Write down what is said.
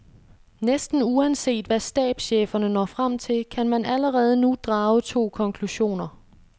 Næsten uanset hvad stabscheferne når frem til, kan man allerede nu drage to konklusioner.